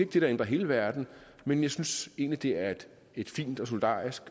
det der ændrer hele verden men jeg synes egentlig det er et fint og solidarisk